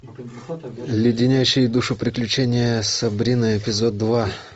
леденящие душу приключения сабрины эпизод два